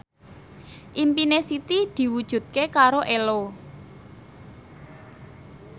impine Siti diwujudke karo Ello